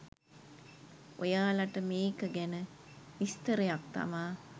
ඔයාලට මේක ගැන විස්තරයක් තමා.